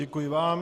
Děkuji vám.